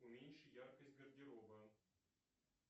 уменьши яркость гардероба